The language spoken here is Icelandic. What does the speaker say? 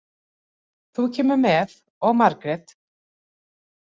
Þú kemur með og Margrét.